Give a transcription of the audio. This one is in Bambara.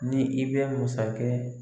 Ni i bɛ masakɛ